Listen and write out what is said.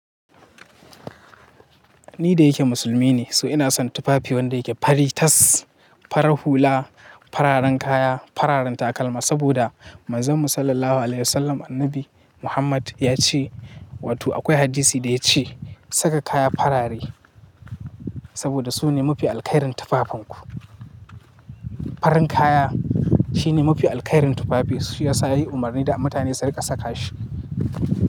Ni da yake musulmi ne, so ina son tufafi wanda yake fari tas, farar hula, fararen kaya, fararen takalma saboda manzonmu Sallallahu Alaihi Wasallam annabi Muhammad ya ce, wato akwai hadisi da ya ce saka kaya farare saboda su ne mafi alkhairin tufafinku. Farin kaya shi ne mafi alkhairin tufafi, shi ya sa yayi umarni da mutane su riƙa saka shi.